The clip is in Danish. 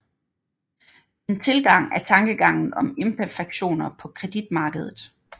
En tilgang er tankegangen om imperfektioner på kreditmarkedet